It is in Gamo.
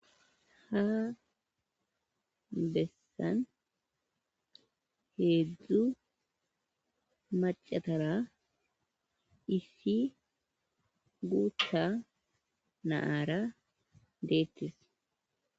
Ha bessan heedzddzu macatara ifi guutta naaara deettis.